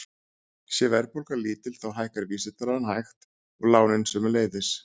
Sé verðbólga lítil þá hækkar vísitalan hægt og lánin sömuleiðis.